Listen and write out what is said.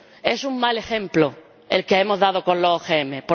es un mal ejemplo el que hemos dado con los OMG.